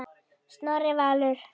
Snorri Valur.